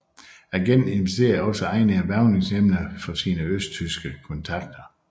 Agenten identificerede også egnede hvervningsemner for sine østtyske kontakter